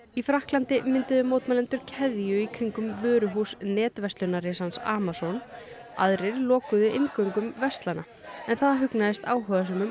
í Frakklandi mynduðu mótmælendur keðju í kringum vöruhús Amazon aðrir lokuðu inngöngum verslana en það hugnaðist áhugasömum